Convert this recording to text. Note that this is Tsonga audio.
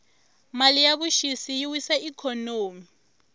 mali ya vuxisi yi wisa ikhonomi